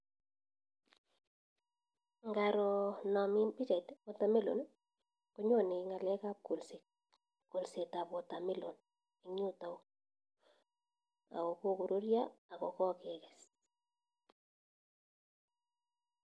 Ngaroo naa mii pichait watermelon konyonee ngalek ab kolset, kolset ab watermelon eng yutakyu akokorurya akokekes